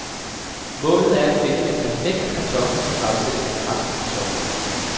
Målet er at finde den perfekte kartoffel til fremstilling af franske kartofler.